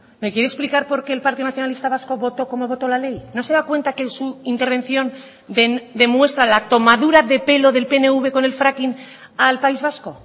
me quiere explicar por qué el partido nacionalista vasco votó como votó la ley no se da cuenta que en su intervención demuestra la tomadura de pelo del pnv con el fracking al país vasco